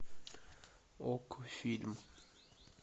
окко фильм